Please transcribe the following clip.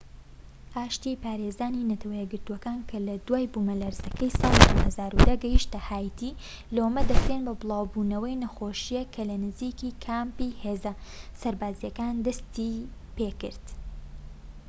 ئاشتی پارێزانی نەتەوە یەکگرتووەکان کە لە دوای بوومەلەرزەکەی ساڵی 2010 گەیشتنە هاییتی لۆمە دەکرێن بۆ بڵاوبوونەوەی نەخۆشیەکە کە لە نزیکی کامپی هێزە سەربازیەکان دەستیپێکرد